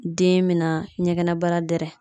Den me na ɲɛgɛnɛbara dɛrɛ